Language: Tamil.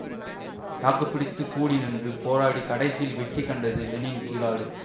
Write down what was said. தாக்கு பிடித்து கூடி நின்று போராடி கடைசியில் வெற்றி கண்டது லெனின் கிராடு